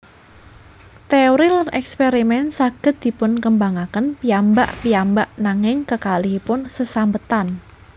Téori lan èkspèrimèn saged dipunkembangaken piyambak piyambak nanging kekalihipun sesambetan